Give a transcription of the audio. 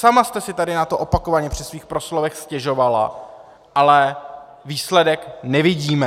Sama jste si tady na to opakovaně při svých proslovech stěžovala, ale výsledek nevidíme!